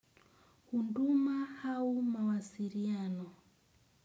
Huduma au mawasiliano.